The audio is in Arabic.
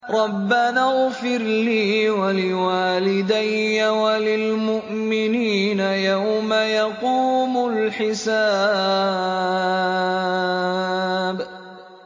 رَبَّنَا اغْفِرْ لِي وَلِوَالِدَيَّ وَلِلْمُؤْمِنِينَ يَوْمَ يَقُومُ الْحِسَابُ